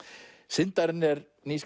syndarinn er ný